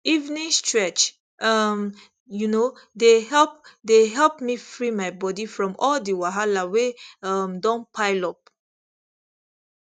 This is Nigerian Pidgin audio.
evening stretch um you know dey help dey help me free my body from all the wahala wey um don pile up